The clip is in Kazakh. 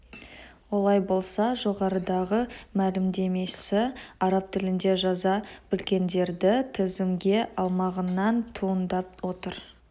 олай болса жоғарыдағы мәлімдемесі араб тілінде жаза білгендерді тізімге алмағаннан туындап отыр